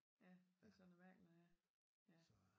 Ja det så noget mærkeligt noget ja